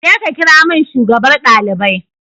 Je ka kirawo min shugabar ɗalibai